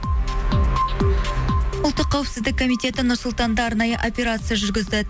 ұлттық қауіпсіздік комитеті нұр сұлтанда арнайы операция жүргізді